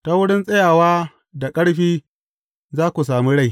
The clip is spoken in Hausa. Ta wurin tsayawa da ƙarfi, za ku sami rai.